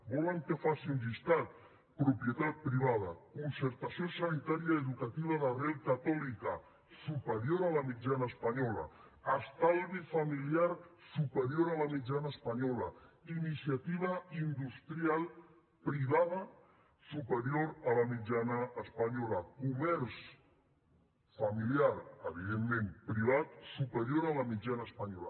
volen que faci un llistat propietat privada concertació sanitària i educativa d’arrel catòlica superior a la mitjana espanyola estalvi familiar superior a la mitjana espanyola iniciativa industrial privada superior a la mitjana espanyola comerç familiar evidentment privat superior a la mitjana espanyola